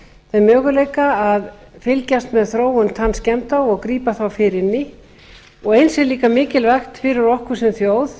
þeim möguleika að fylgjast með þróun tannskemmda og grípa þá fyrr inn í eins er líka mikilvægt fyrir okkur sem þjóð